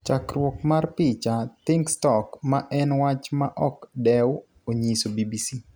Chakruok mar picha, Thinkstock "ma en wach ma ok dew," onyiso BBC.